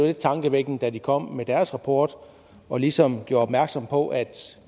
lidt tankevækkende da de kom med deres rapport og ligesom gjorde opmærksom på at